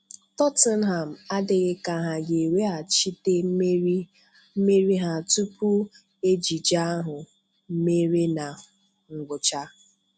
Tottenham adịghị ka ha ga eweghachite mmeri ha tupu ejije ahụ mere na ngwụcha.